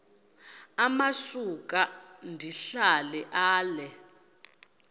amasuka ndihlala ale